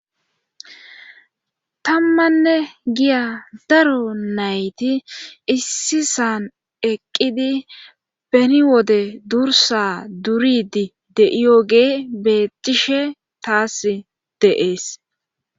Tammanne giya daro nayti issi san eqqidi beni wode durssa duridi de7iyogee bettishe taas de7ees.